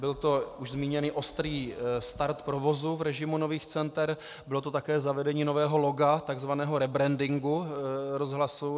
Byl to už zmíněný ostrý start provozu v režimu nových center, bylo to také zavedení nového loga, takzvaného rebrandingu rozhlasu.